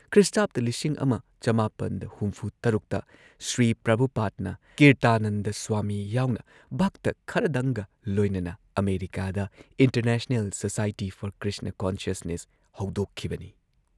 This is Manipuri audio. ꯈ꯭ꯔꯤ: ꯱꯹꯶꯶ ꯇ ꯁ꯭ꯔꯤꯄ꯭ꯔꯚꯨꯄꯥꯗꯅ ꯀꯤꯔꯇꯥꯅꯟꯗ ꯁ꯭ꯋꯥꯃꯤ ꯌꯥꯎꯅ ꯚꯛꯇ ꯈꯔꯗꯪꯒ ꯂꯣꯏꯅꯅ ꯑꯃꯦꯔꯤꯀꯥꯗ International Society for Krishna Consciousness ꯍꯧꯗꯣꯛꯈꯤꯕꯅꯤ ꯫